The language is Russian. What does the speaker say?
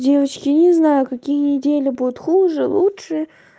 девочки не знаю какие недели будет хуже лучше